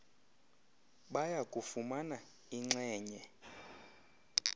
baya kufumana inxenye